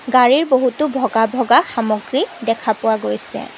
গাড়ীৰ বহুতো ভগা ভগা সামগ্ৰী দেখা পোৱা গৈছে।